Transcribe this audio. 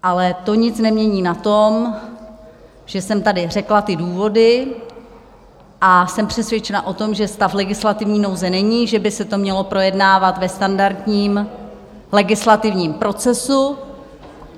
Ale to nic nemění na tom, že jsem tady řekla ty důvody, a jsem přesvědčena o tom, že stav legislativní nouze není, že by se to mělo projednávat ve standardním legislativním procesu.